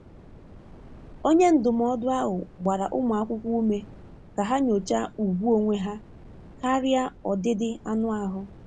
Onye ndụmọdụ ahụ gbara ụmụ akwụkwọ ume ka ha nyochaa ùgwù onwe ha karịa ọdịdị anụ ahụ.